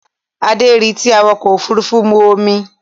Adé rí tí awakọ̀ òfurufú mu omi